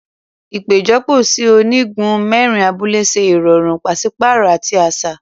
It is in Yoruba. Ipejọpọ sí ònígún mẹrin abúlé ṣe irọrun paṣipaarọ ati aṣa.